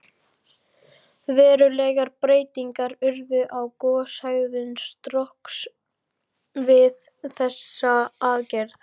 Verulegar breytingar urðu á goshegðun Strokks við þessa aðgerð.